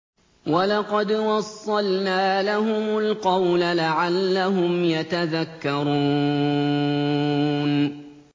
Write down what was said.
۞ وَلَقَدْ وَصَّلْنَا لَهُمُ الْقَوْلَ لَعَلَّهُمْ يَتَذَكَّرُونَ